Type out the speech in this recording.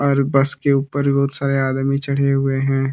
और बस के ऊपर बहुत सारे आदमी चढ़े हुए हैं।